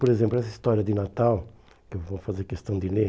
Por exemplo, essa história de Natal, que eu vou fazer questão de ler...